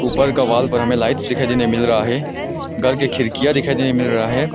ऊपर का वॉल पर हमें लाइट्स दिखाई देने मिल रहा है घर के खिड़कियां दिखाई देने मिल रहा है।